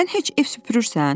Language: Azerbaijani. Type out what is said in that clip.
Sən heç ev süpürürsən?